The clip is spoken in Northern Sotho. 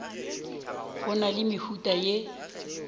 go na le mehuta ye